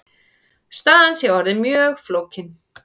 Staðan sé orðin mjög flókin.